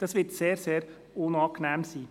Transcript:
Dies wird sehr unangenehm sein.